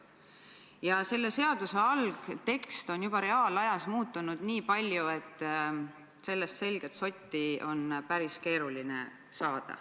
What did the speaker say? Ja seaduse algtekst on juba reaalajas muutunud nii palju, et sellest selget sotti on päris keeruline saada.